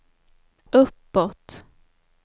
uppåt